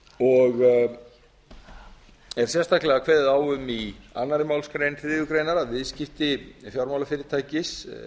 og er sérstaklega kveðið á um í annarri málsgrein þriðju grein að viðskipti fjármálafyrirtækis